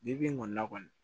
Bi bi in kɔni na kɔni